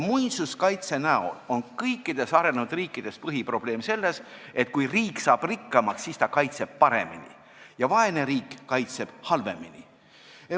Põhiprobleem on kõikides riikides see, et kui riik saab rikkamaks, siis ta kaitseb paremini, aga vaene riik kaitseb halvemini.